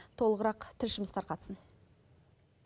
толығырақ тілшіміз тарқатсын